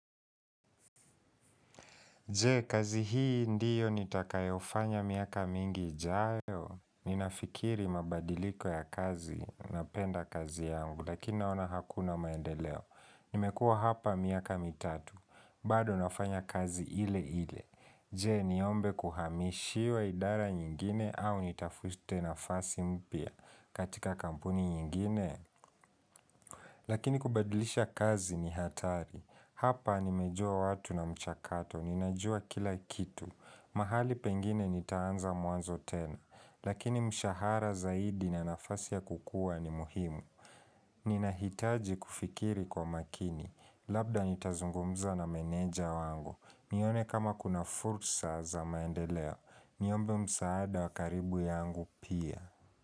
Je, kazi hii ndiyo nitakayofanya miaka mingi jayo. Ninafikiri mabadiliko ya kazi na penda kazi yangu, lakini naona hakuna maendeleo. Nimekua hapa miaka mitatu. Baado nafanya kazi ile ile. Je, niombe kuhamishiwa idara nyingine au nitafuste nafasi mpya katika kampuni nyingine. Lakini kubadilisha kazi ni hatari. Hapa nimejua watu na mchakato. Ninajua kila kitu. Mahali pengine nitaanza mwanzo tena. Lakini mshahara zaidi na nafasi ya kukua ni muhimu. Ninahitaji kufikiri kwa makini. Labda nitazungumza na meneja wangu. Nione kama kuna fursa za maendeleo. Niombe msaada wakaribu yangu pia.